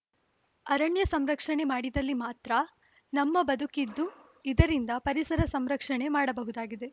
ಅರಣ್ಯ ಸಂರಕ್ಷಣೆ ಮಾಡಿದಲ್ಲಿ ಮಾತ್ರ ನಮ್ಮ ಬದುಕಿದ್ದು ಇದರಿಂದ ಪರಿಸರ ಸಂರಕ್ಷಣೆ ಮಾಡಬಹುದಾಗಿದೆ